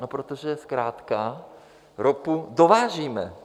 No protože zkrátka ropu dovážíme.